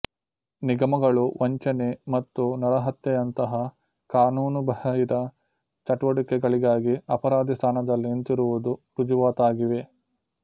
ನಿಗಮಗಳು ವಂಚನೆ ಮತ್ತು ನರಹತ್ಯೆಯಂತಹ ಕಾನೂನುಬಾಹಿರ ಚಟುವಟಿಕೆಗಳಿಗಾಗಿ ಅಪರಾಧಿ ಸ್ಥಾನದಲ್ಲಿ ನಿಂತಿರುವುದು ರುಜುವಾತಾಗಿವೆ